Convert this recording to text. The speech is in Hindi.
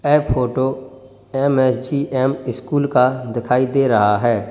ये फोटो एम_एस_जी_एम स्कूल का दिखाई दे रहा है।